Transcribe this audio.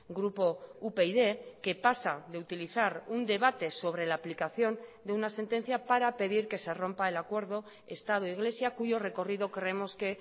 grupo upyd que pasa de utilizar un debate sobre la aplicación de una sentencia para pedir que se rompa el acuerdo estado iglesia cuyo recorrido creemos que